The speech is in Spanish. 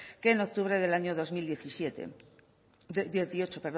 que en octubre del año dos mil dieciocho